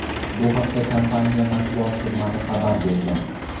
Bu haqda kompaniya matbuot xizmati xabar bergan.